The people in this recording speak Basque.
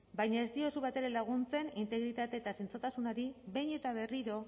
baina ez diozu batere laguntzen integritate eta zintzotasunari behin eta berriro